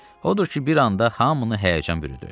Odur ki, bir anda hamını həyəcan bürüdü.